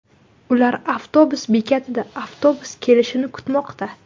Ular avtobus bekatida avtobus kelishini kutmoqda.